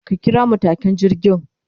Ka kira matukin jirgin